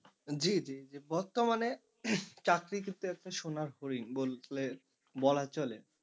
জি জি জি বর্তমানে চাকরি ক্ষেত্র একটা সোনার হরিণ বললে বলা চলে।